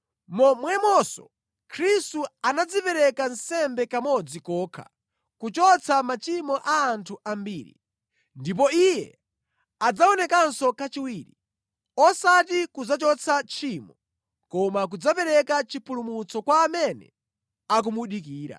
momwemonso Khristu anadzipereka nsembe kamodzi kokha kuchotsa machimo a anthu ambiri. Ndipo Iye adzaonekanso kachiwiri, osati kudzachotsa tchimo, koma kudzapereka chipulumutso kwa amene akumudikira.